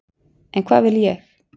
En hvað vil ég?